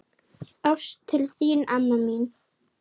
Ást til þín, amma mín.